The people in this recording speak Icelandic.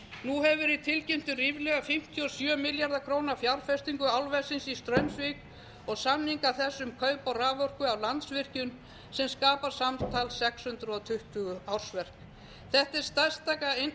nú hefur verið tilkynnt um ríflega fimmtíu og sjö milljarða króna fjárfestingu álversins í straumsvík og samninga þess um kaup á raforku af landsvirkjun sem skapar samtals sex hundruð tuttugu ársverk þetta er